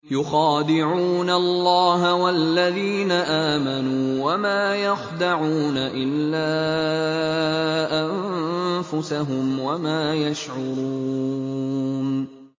يُخَادِعُونَ اللَّهَ وَالَّذِينَ آمَنُوا وَمَا يَخْدَعُونَ إِلَّا أَنفُسَهُمْ وَمَا يَشْعُرُونَ